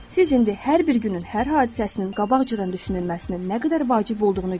Siz indi hər bir günün hər hadisəsinin qabaqcadan düşünülməsinin nə qədər vacib olduğunu görürsünüz.